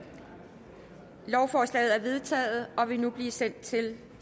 lovforslaget er vedtaget og vil nu blive sendt til